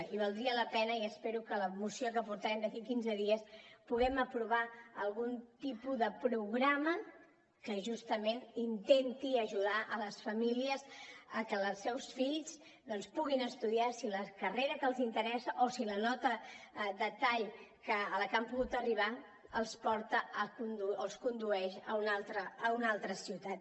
i valdria la pena i espero que la moció que portarem d’aquí a quinze dies puguem aprovar algun tipus de programa que justament intenti ajudar les famílies a que els seus fills doncs puguin estudiar si la carrera que els interessa o si la nota de tall a la que han pogut arribar els porta o els condueix a una altra ciutat